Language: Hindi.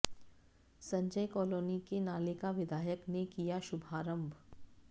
संजय कॉलोनी के नाले का विधायक ने किया शुभारंभ